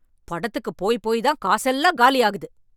படத்துக்கு போய் போய் தான் காசெல்லாம் காலியாகுது.